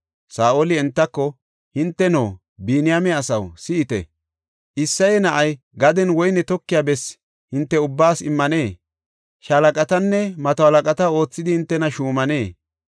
Saa7oli entako, “Hinteno, Biniyaame asaw, si7ite; Isseye na7ay gadenne woyne tokiya bessi hinte ubbaas immanee? Shaalaqatanne mato halaqata oothidi hintena shuumanee?